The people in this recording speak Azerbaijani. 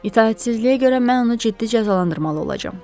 İtaətsizliyə görə mən onu ciddi cəzalandırmalı olacam.